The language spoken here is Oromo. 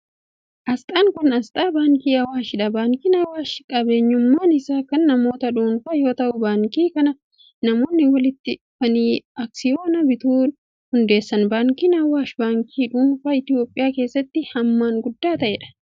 Asxaan kun, asxaa baankii Awaashi dha. Baankiin Awaash qabeenyummaan isaa kan namoota dhuunfaa yoo ta'u, baankii kana namoonni walitti dhufanii aksiyoona bituun hundeessan. Baankiin Awaash, baankii dhuunfaa Itoophiyaa keessatti hammaan guddaa ta'ee dha.